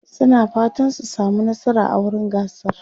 suna fatan su samu nasara a wurin gasar